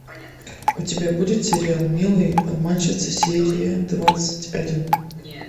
у тебя будет сериал милые обманщицы серия двадцать один